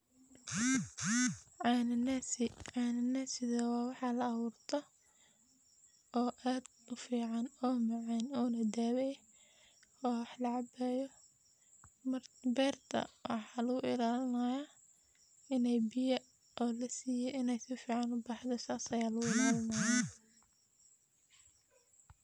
Cananasi , cananasi oo waxa laawurto oo ad ufican oo na dawo eh oo wax lacabayo eh. Marka berta waxaa luguilalinaya ini biyo qawow lasiye in sifican ubaxdho , sas aya lo ilalinaya.